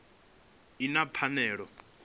kha vhupo ine ya fanela